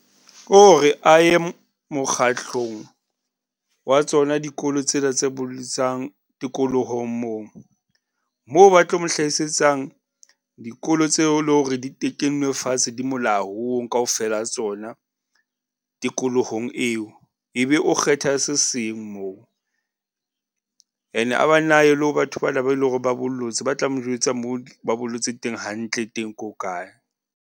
Ko re a ye mokgatlong wa tsona dikolo tsena tse bollisang tikolohong moo. Moo ba tlo mo hlahisetsang dikolo tseo lo re di tekenwe fatshe, di molaong kaofela tsona tikolohong eo. Ebe o kgetha se seng moo. And-e a ba nne a ye le ho batho bana ba eleng hore ba bollotse ba tla mo jwetsa moo ba bollotse teng hantle teng, ke hokae.